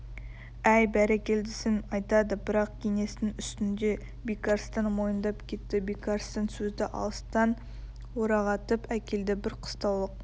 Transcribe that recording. әй бәрекелдісін айтады бірақ кеңестің үстінде бекарыстан мойындап кетті бекарыстан сөзді алыстан орағытып әкелді бір қыстаулық